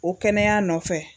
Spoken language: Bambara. O kɛnɛya nɔfɛ